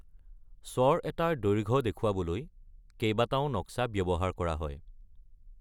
স্বৰ এটাৰ দৈৰ্ঘ্য দেখুৱাবলৈ, কেইবাটাও নক্সা ব্যৱহাৰ কৰা হয়।